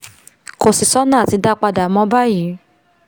kò sì sọ́nà àti dá a padà mọ́ báyìí